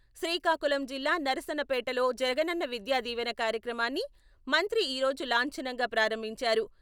శ్రీకాకుళం జిల్లా నరసన్నపేటలో జగనన్న విద్యా దీవెన కార్యక్రమాన్ని మంత్రి ఈ రోజు లాంఛనంగా ప్రారంభించారు.